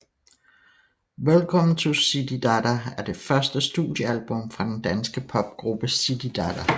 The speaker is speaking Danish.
Welcome To Zididada er det første studiealbum fra den danske popgruppe Zididada